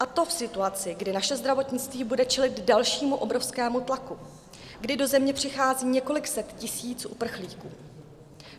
A to v situaci, kdy naše zdravotnictví bude čelit dalšímu obrovskému tlaku, kdy do země přichází několik set tisíc uprchlíků.